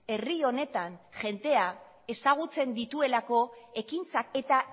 herri honetan jendea ezagutzen dituelako ekintzak eta